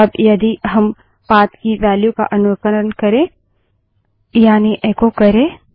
अब यदि हम पाथ की वेल्यू का अनुकरण करें यानि एको करे